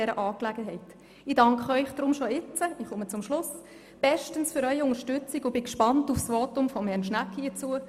Ich danke Ihnen deshalb schon jetzt bestens und bin gespannt auf das Votum von Herrn Schnegg dazu.